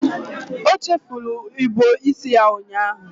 O chefuru ịbọ isi ya ụnyaahụ.